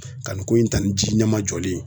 Ka nin ko in ta nin ji ɲɛmajɔlen ye.